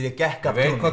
ég gekk af